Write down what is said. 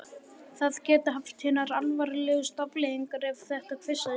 Það gæti haft hinar alvarlegustu afleiðingar ef þetta kvisaðist út.